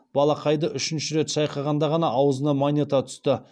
балақайды үшінші рет шайқағанда ғана аузынан монета түсті